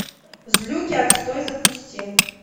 злюки отстой запусти